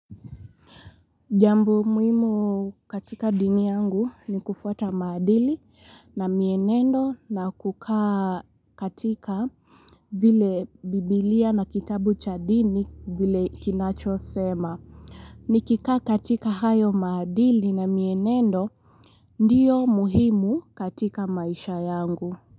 Jambo muhimu katika dini yangu ni kufuata maadili na mienendo na kukaa katika vile biblia na kitabu cha dini vile kinachosema Nikikaa katika hayo maadili na mienendo ndiyo muhimu katika maisha yangu.